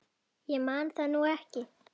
Ég man það nú ekki.